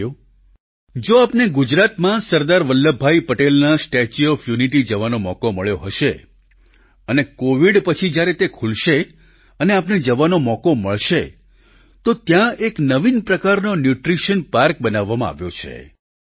સાથીઓ જો આપને ગુજરાતમાં સરદાર વલ્લભભાઈ પટેલના સ્ટેચ્યુ ઓફ યુનિટી જવાનો મોકો મળ્યો હશે અને કોવિડ પછી જ્યારે તે ખૂલશે અને આપને જવાનો મોકો મળશે તો ત્યાં એક નવીન પ્રકારનો ન્યૂટ્રિશન પાર્ક બનાવવામાં આવ્યો છે